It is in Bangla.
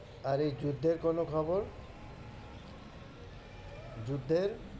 আর এই যুদ্ধের কোনো খবর? যুদ্ধের?